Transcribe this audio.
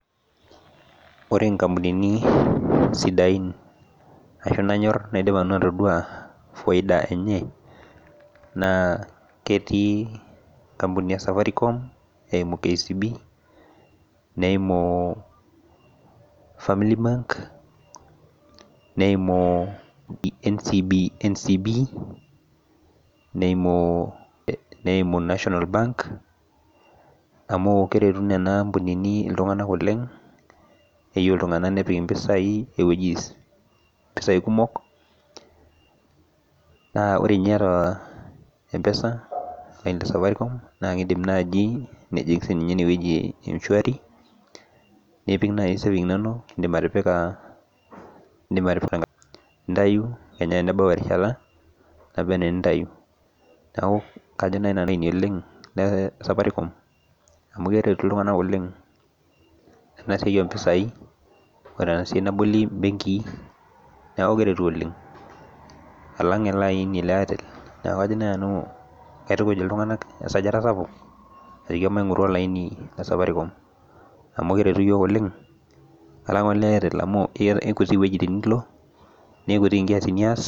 Ore nkampunini sidain nanyor ashu naidipa nanu atadua faida enye na ketii nkampunini esafaricom eimu kcb neimu family bank neimu ncb naimu national bank amu keretu nona ambunini ltunganak oleng keyieu ltunganak nepik ltunganak ewoi mpisai kumok na ore nai aita empesa na indim sinyeyie enewueji e mshwari indim atipika nintau na enebau erishata niyeu nintau, neaku kesidai Safaricom amu keretu ltunganak oleng tenasiai ompisai ore enasia naboli mbenki alang esiai e airtel kajo nai nanu kaitukuj ltunganak esajata sapuk ajo maingoru olaini le Safaricom alang ole airtel amu kekutik wuejitin nilo nekutik nkiasin nias.